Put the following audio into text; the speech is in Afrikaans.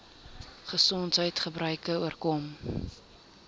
gesondheids gebreke oorkom